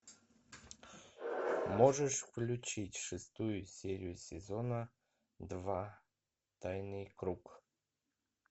можешь включить шестую серию сезона два тайный круг